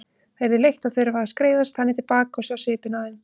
Það yrði leitt að þurfa að skreiðast þannig til baka og sjá svipinn á þeim.